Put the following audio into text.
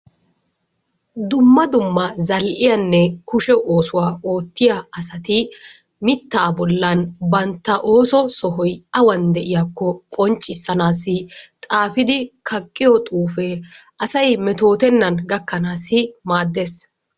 Dumma dumma zal'iyanne kushe oosuwa oottiya asati mittaa bollan bantta ooso sohoy awan de'iyakko qonccisanaassi xaafidi kaqqiyo xuufee asay metootennan gakanaassi maaddees.